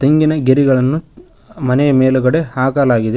ತೆಂಗಿನ ಗೆರಿಗಳನ್ನು ಮನೆಯ ಮೇಲುಗಡೆ ಹಾಕಲಾಗಿದೆ.